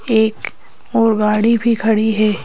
एकऔर गाड़ी भी खड़ी है।